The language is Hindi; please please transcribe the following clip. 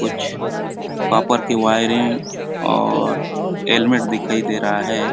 कुछ कॉपर की वायरे और हैलमेट दिखाई दे रहा है।